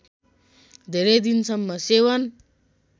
धेरै दिनसम्म सेवन